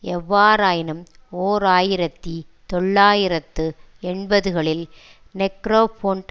எவ்வாறாயினும் ஓர் ஆயிரத்தி தொள்ளாயிரத்து எண்பதுகளில் நெக்ரோபொன்ட்